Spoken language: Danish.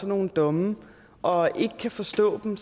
nogle domme og ikke kan forstå dem